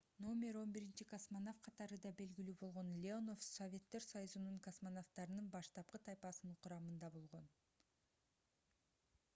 №11 космонавт катары да белгилүү болгон леонов советтер союзунун космонавттарынын баштапкы тайпасынын курамында болгон